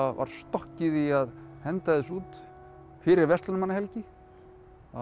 var stokkið í að henda þessu út fyrir verslunarmannahelgi það